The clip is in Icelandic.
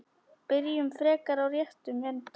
Byrjum frekar á réttum enda.